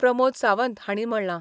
प्रमोद सावंत हांणी म्हणला.